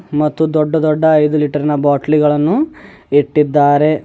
ಮತ್ತು ದೊಡ್ಡ ದೊಡ್ಡ ಐದು ಲೀಟರ್ನ ಬಾಟ್ಲಿಗಳನ್ನು ಇಟ್ಟಿದ್ದಾರೆ.